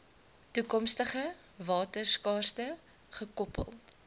toekomstige waterskaarste gekoppel